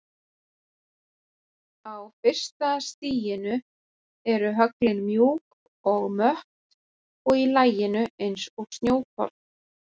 Á fyrsta stiginu eru höglin mjúk og mött og í laginu eins og snjókorn.